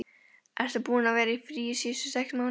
Ertu búinn að vera í fríi síðustu sex mánuði?